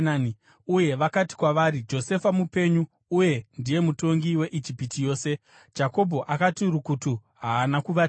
Uye vakati kwavari, “Josefa mupenyu! Uye ndiye mutongi weIjipiti yose.” Jakobho akati rukutu; haana kuvatenda.